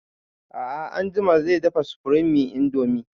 A'a anjima zai dafa supreme indomie